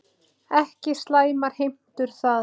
Ekki slæmar heimtur það.